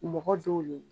Mɔgɔ dɔw le